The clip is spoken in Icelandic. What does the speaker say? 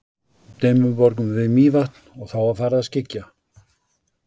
Dimmuborgum við Mývatn og þá var farið að skyggja.